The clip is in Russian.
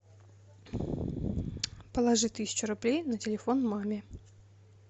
положи тысячу рублей на телефон маме